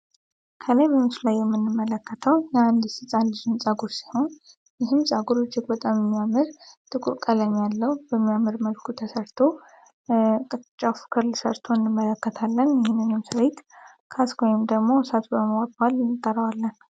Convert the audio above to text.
ከላይ ቬንሱ ላይ የምንመለከታው ያአንዲስስፃ ሊዙ እን ጸጉር ሲሆን ይህም ጻጉር እጅግ በጣም የሚያምር ጥቁርቀለኝ ያለው በሚያምር መልኩ ተሰርቶ ቀጫፉክርል ሰርቶ እንመለከታለን ይህንኙም ስርይት ካስጓይም ደግሞ እሳቱ በመዋባል ሊንጠረዋለን፡፡